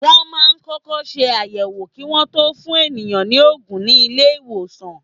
Wọ́n máa ń kọ́kọ́ ṣe àyẹ̀wò kí Wọ́n tó fún ènìyàn ní òògùn ní ilé ìwòsàn.